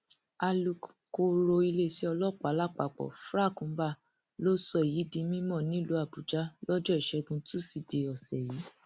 alūkkóró iléeṣẹ ọlọpàá lápapọ frank mba ló sọ èyí di mímọ nílùú àbújá lọjọ ìṣẹgun túṣídéé ọsẹ yìí